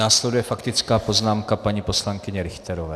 Následuje faktická poznámka paní poslankyně Richterové.